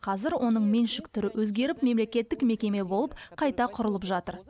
қазір оның меншік түрі өзгеріп мемлекеттік мекеме болып қайта құрылып жатыр